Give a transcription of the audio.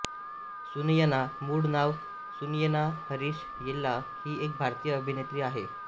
सुनयना मूळ नाव सुनयना हरीश येल्ला हि एक भारतीय अभिनेत्री आहे